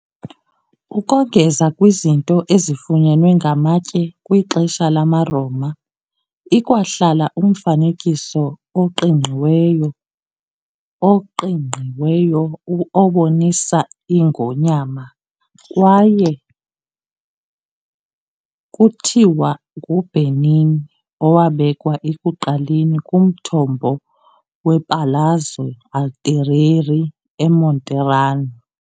Ukongeza kwizinto ezifunyenwe ngamatye kwixesha lamaRoma, ikwahlala umfanekiso oqingqiweyo oqingqiweyo obonisa ingonyama kwaye kuthiwa nguBernini, owabekwa ekuqaleni kumthombo wePalazzo Altieri eMonterano.